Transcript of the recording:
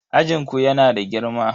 Ajin ku yana da girma?